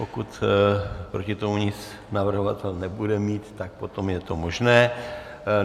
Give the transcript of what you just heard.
Pokud proti tomu nic navrhovatel nebude mít, tak potom je to možné.